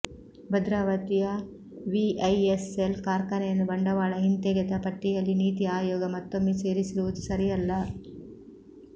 ಭದ್ರಾವತಿಯ ವಿಐಎಸ್ಎಲ್ ಕಾರ್ಖಾನೆಯನ್ನು ಬಂಡವಾಳ ಹಿಂತೆಗೆತ ಪಟ್ಟಿಯಲ್ಲಿ ನೀತಿ ಆಯೋಗ ಮತ್ತೊಮ್ಮೆ ಸೇರಿಸಿರುವುದು ಸರಿಯಲ್ಲ